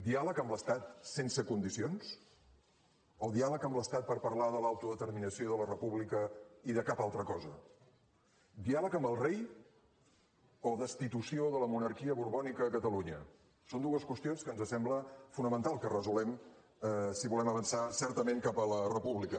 diàleg amb l’estat sense condicions o diàleg amb l’estat per parlar de l’autodeterminació i de la república i de cap altra cosa diàleg amb el rei o destitució de la monarquia borbònica a catalunya són dues qüestions que ens sembla fonamental que resolguem si volem avançar certament cap a la república